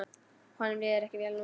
Honum líður ekki vel núna.